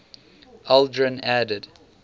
aldrin added